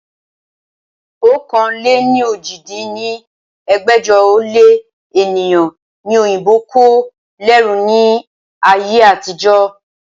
ọ̀kan-lé-ní-ojì dín ní ẹgbẹ́jọ ó lé ènìyàn ni òyìnbó kó lẹ́rú ni ayé àtijọ́